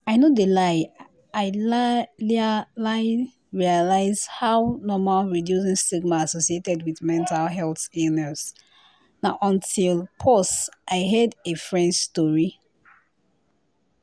i no de lie i lai lai realized how normal reducing stigma associated wit mental illness na until pause i heard a fren's tori.